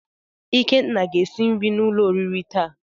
Ikenna ga esi nri n'ulo oriri taa.